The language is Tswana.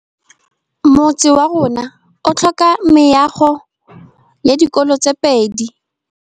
Motse warona o tlhoka meago ya dikolô tse pedi.